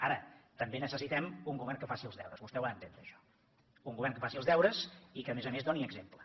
ara també necessitem un govern que faci els deures vostè ho ha d’entendre això un govern que faci els deures i que a més a més doni exemple